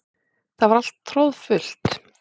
Það var alltaf troðfullt.